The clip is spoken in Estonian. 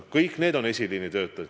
Kõik need on esiliini töötajad.